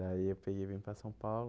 Daí eu peguei e vim para São Paulo.